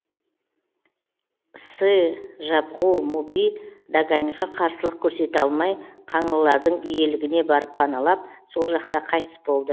сы жабғу муби даганьға қарсылық көрсете алмай қаңлылардың иелігіне барып паналап сол жақта қайтыс болды